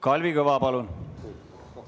Kalvi Kõva, palun!